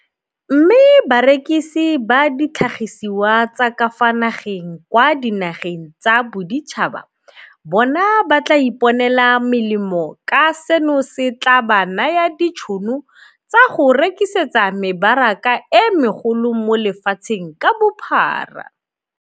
Mme barekisi ba ditlhagisiwa tsa ka fa nageng kwa dinageng tsa boditšhaba bona ba tla iponela molemo ka seno se tla ba naya ditšhono tsa go rekisetsa mebaraka e megolo mo lefatsheng ka bophara.